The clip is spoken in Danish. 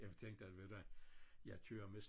Jeg tænkte at ved du hvad jeg kører med